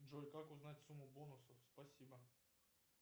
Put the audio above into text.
джой как узнать сумму бонусов спасибо